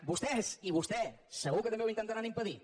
vostè i vostè segur que també ho intentaran impedir